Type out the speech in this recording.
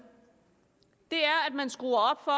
er at man skruer op for